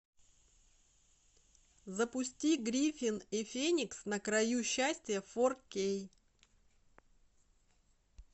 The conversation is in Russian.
запусти гриффин и феникс на краю счастья фор кей